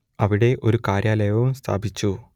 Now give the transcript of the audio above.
അവിടെ ഒരു കാര്യാലയവും സ്ഥാപിച്ചു